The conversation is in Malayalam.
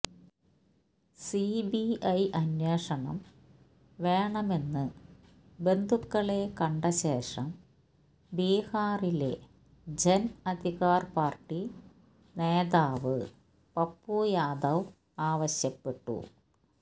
സിബിഐ അന്വേഷണം വേണമെന്ന് ബന്ധുക്കളെ കണ്ട ശേഷം ബീഹാറിലെ ജൻ അധികാർ പാർട്ടി നേതാവ് പപ്പു യാദവ് ആവശ്യപ്പെട്ടു